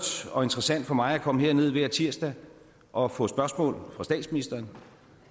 og interessant for mig at komme herned hver tirsdag og få spørgsmål fra statsministeren